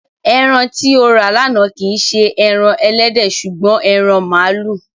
Ẹran tí o rà lánàá kì í ṣe ẹran ẹlẹ́dẹ̀ ṣùgbọ́n ẹran màlúù.